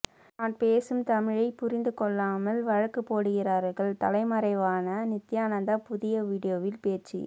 நான் பேசும் தமிழை புரிந்து கொள்ளாமல் வழக்கு போடுகிறார்கள் தலைமறைவான நித்தியானந்தா புதிய வீடியோவில் பேச்சு